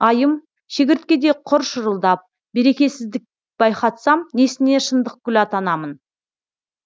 айым шегірткедей құр шырылдап берекесіздік байқатсам несіне шындықгүл атанамын